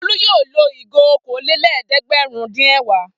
Folú yóò lo ìgò okòólélẹ́ẹ̀dẹ́gbẹ̀rúndínẹ̀wá.